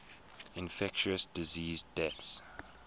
infectious disease deaths